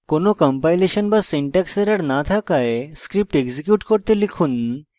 কোনো কম্পাইলেশন বা syntax error no থাকায় এখন script execute করতে